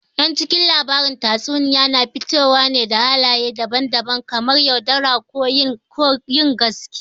Yan cikin labaran tatsuniya na fitowa da halaye daban daban kamar yaudara, ko yin gaskiya